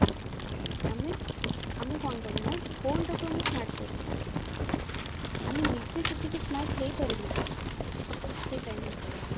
ଆମେ ଆମେ କଣ କଲେ ନା phone ଟାକୁ ଆମେ smart କରିଦେଲେ ଆମେ ନିଜେ ସେତିକି smart ହେଇ ପାରିଲେ କି ସେଇ time ଭିତରେ